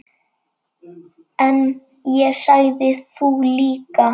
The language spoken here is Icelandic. En ég sagði: Þú líka.